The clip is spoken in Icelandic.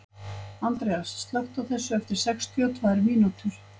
Andreas, slökktu á þessu eftir sextíu og tvær mínútur.